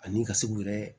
Ani i ka se k'u yɛrɛ